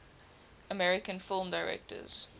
american film directors